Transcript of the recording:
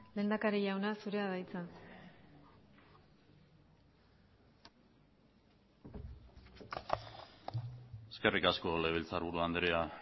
lehendakari jauna zurea da hitza eskerrik asko legebiltzarburu andrea